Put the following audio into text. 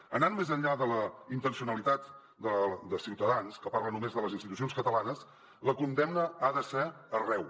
anant més enllà de la intencionalitat de ciutadans que parla només de les institucions catalanes la condemna ha de ser arreu